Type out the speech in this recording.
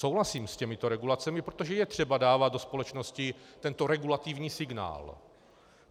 Souhlasím s těmito regulacemi, protože je třeba dávat do společnosti tento regulativní signál.